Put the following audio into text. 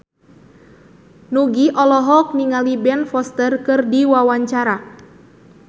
Nugie olohok ningali Ben Foster keur diwawancara